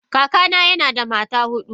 Kakana yana da mata hudu.